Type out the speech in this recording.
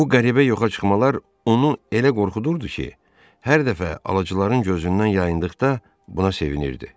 Bu qəribə yoxa çıxmalar onu elə qorxudurdu ki, hər dəfə alıcıların gözündən yayındıqda buna sevinirdi.